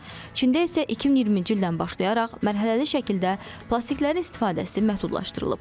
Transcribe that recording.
Çində isə 2020-ci ildən başlayaraq mərhələli şəkildə plastikin istifadəsi məhdudlaşdırılıb.